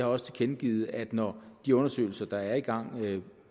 også tilkendegivet at når de undersøgelser der er i gang